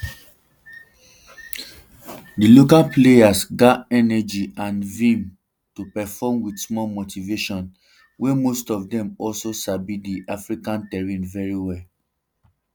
di local players gat energy and vim to perform wit small motivation um wey most of dem also sabi um di african terrain well well